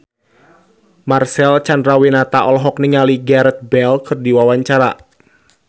Marcel Chandrawinata olohok ningali Gareth Bale keur diwawancara